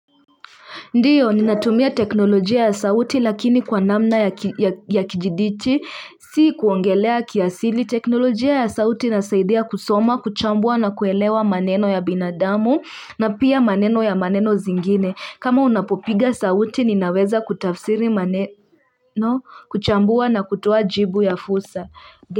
Ndiyo ninatumia teknolojia ya sauti lakini kwa namna ya kijidijiti si kuongelea kiasili teknolojia ya sauti nasaidia kusoma kuchambua na kuelewa maneno ya binadamu na pia maneno ya maneno zingine kama unapopiga sauti ninaweza kutafsiri maneno kuchambua na kutoa jibu ya fursa.